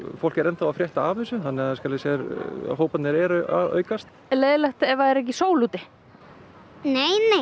fólk er enn þá að frétta af þessu þannig hóparnir eru að aukast er leiðinlegt ef það er ekki sól úti nei nei